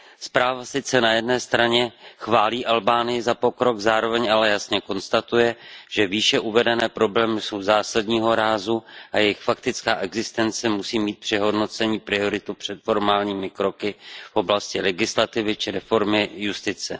Zpráva sice na jedné straně chválí Albánii za pokrok, zároveň ale jasně konstatuje, že výše uvedené problémy jsou zásadního rázu a jejich faktická existence musí mít při hodnocení prioritu před formálními kroky v oblasti legislativy či reformy justice.